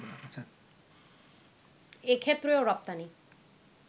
এক্ষেত্রেও রপ্তানি